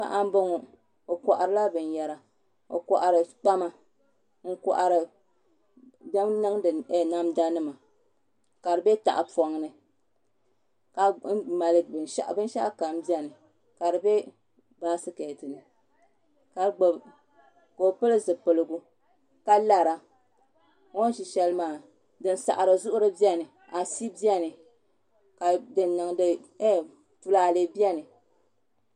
Paɣa n boŋo o koharila binyɛra o kohari kpama n kohari din niŋdi namda nima ka di bɛ tahapoŋ ni binshaɣu kam biɛni ka di bɛ baskɛt ni ka gbubi ka o pili zipiligu ka lara o ni ʒi shɛli maa afi biɛni ka tulaalɛ biɛni